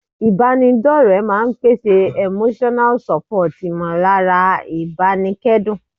Ìbára ẹni dọ́ọ̀rẹ́ máa n pèsè Emotional support ìmọ̀lára ìbánikẹ́dùn